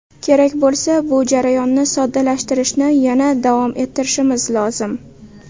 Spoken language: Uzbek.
Kerak bo‘lsa, bu jarayonni soddalashtirishni yana davom ettirishimiz lozim.